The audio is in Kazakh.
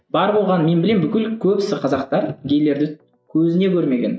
бар болғаны мен білемін бүкіл көбісі қазақтар гейлерді көзіне көрмеген